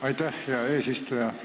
Aitäh, hea eesistuja!